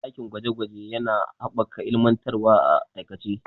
Dakin gwaje gwaje yana haɓaka ilmantarwa a aikace.